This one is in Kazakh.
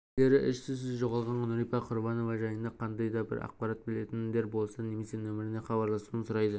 полицейлері із-түссіз жоғалған нурипа құрбанова жайында қандай да бір ақпарат білетіндер болса немесе нөміріне хабарласуын сұрайды